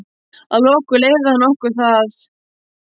Að lokum leyfði hann okkur það.